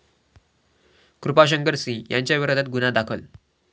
कृपाशंकर सिंह यांच्या विरोधात गुन्हा दाखल